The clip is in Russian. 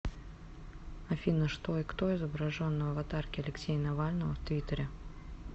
афина что и кто изображен на аватарке алексея навального в твиттере